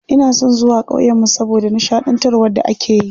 Ina son zuwa ƙauyen mu saboda nishaɗantarwar da akeyi.